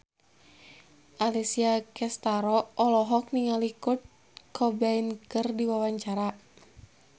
Alessia Cestaro olohok ningali Kurt Cobain keur diwawancara